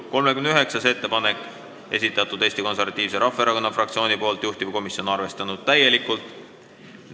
39. ettepaneku on esitanud Eesti Konservatiivse Rahvaerakonna fraktsioon, juhtivkomisjon on täielikult arvestanud.